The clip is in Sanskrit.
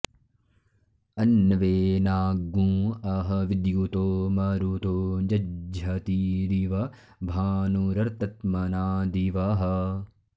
अन्वे॑ना॒ँ अह॑ वि॒द्युतो॑ म॒रुतो॒ जज्झ॑तीरिव भा॒नुर॑र्त॒ त्मना॑ दि॒वः